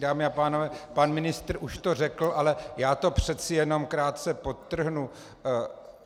Dámy a pánové, pan ministr už to řekl, ale já to přeci jenom krátce podtrhnu.